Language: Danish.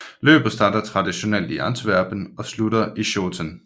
Løbet starter traditionelt i Antwerpen og slutter i Schoten